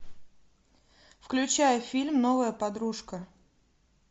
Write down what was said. включай фильм новая подружка